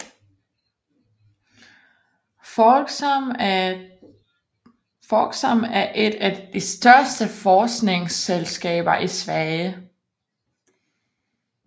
Folksam er et af de største forsikringsselskaber i Sverige